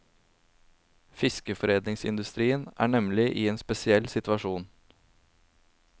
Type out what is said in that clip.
Fiskeforedlingsindustrien er nemlig i en spesiell situasjon.